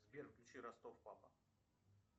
сбер включи ростов папа